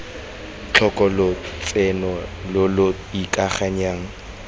tlhoka lotseno lo lo ikanyegang